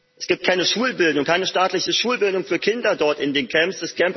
Es gibt keine Schulbildung, keine staatliche Schulbildung für Kinder dort in den Camps.